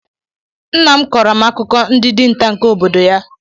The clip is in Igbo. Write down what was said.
Nna m kọọrọ m akụkọ ndị dinta nke obodo ya.